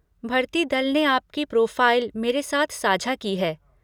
भर्ती दल ने आपकी प्रोफ़ाइल मेरे साथ साझा की है।